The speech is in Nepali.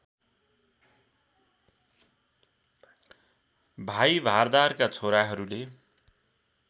भाइ भारदारका छोराहरूले